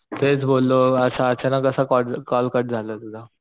तेच बोललो असा अचानक कसा कॉ कॉल कट झाला तुझा